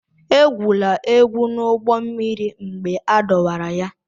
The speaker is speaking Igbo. Egwula egwu n'ụgbọ mmiri mgbe a dọwara ya!